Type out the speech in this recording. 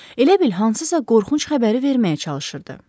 Elə bil hansısa qorxunc xəbəri verməyə çalışırdı.